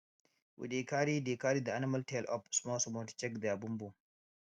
we dey carry dey carry the animal tail up small small to check their bum bum